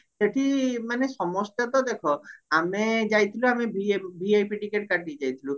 ସେଠି ମାନେ ସମସ୍ତେ ତ ଦେଖ ଆମେ ଯାଇଥିଲୁ ଆମେ VIP ଟିକେଟ କାଟିକି ଯାଇଥିଲୁ